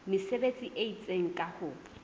mesebetsi e itseng ka ho